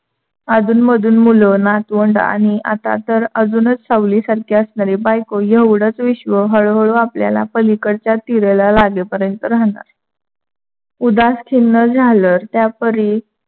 अधूनमधून मुलंं, नातवंड आणि आता तर अजूनच सावलीसारखी असणारी बायको एवढंच विश्व हळूहळू आपल्याला पलीकडच्या तिरेला लागेपर्यंत राहणार. उदासखीन्न झालं त्यापरि